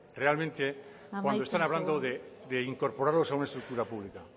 realmente cuando están hablando de incorporarlos a una estructura pública